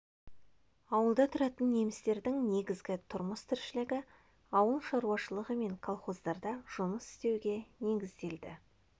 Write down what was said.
ауылда тұратын немістердің негізгі тұрмыс-тіршілігі ауыл шаруашылығы мен колхоздарда жұмыс істеуге негізделді